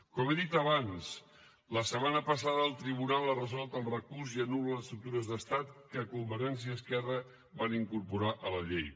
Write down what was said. com he dit abans la setmana passada el tribunal ha resolt el recurs i anul·la les estructures d’estat que convergència i esquerra van incorporar a la llei